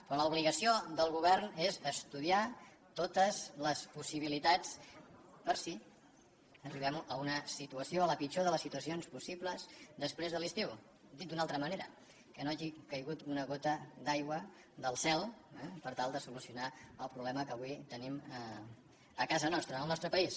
però l’obligació del govern és estudiar totes les possibilitats per si arribem a una situació a la pitjor de les situacions possibles després de l’estiu dit d’una altra manera que no hagi caigut una gota d’aigua del cel eh per tal de solucionar el problema que avui tenim a casa nostra al nostre país